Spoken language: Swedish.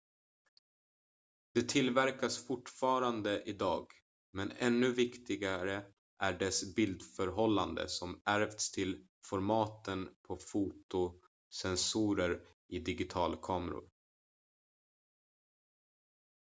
det tillverkas fortfarande idag men ännu viktigare är dess bildförhållande som ärvts till formaten på fotosensorer i digitalkameror